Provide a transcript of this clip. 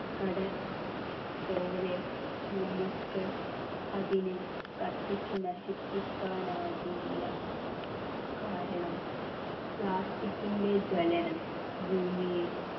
കടൽ പോലെ നമുക്ക് അതിനെ കത്തിച്ചു നശിപ്പിക്കാൻ ആകില്ല കാരണം plastic ൻ്റെ ജ്വലനം ഭൂമിയെ